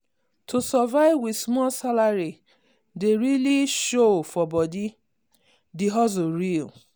to survive with small salary dey really show for body the hustle real.